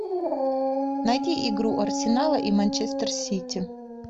найди игру арсенала и манчестер сити